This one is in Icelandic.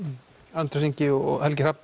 Andrés Ingi og Helgi Hrafn